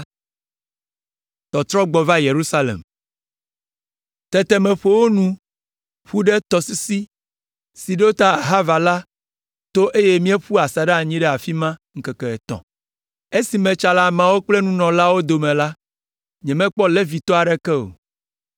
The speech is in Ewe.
Tete meƒo wo nu ƒu ɖe tɔsisi si si ɖo ta Ahava la to eye míeƒu asaɖa anyi ɖe afi ma ŋkeke etɔ̃. Esi metsa le ameawo kple nunɔlaawo dome la, nyemekpɔ Levitɔ aɖeke o.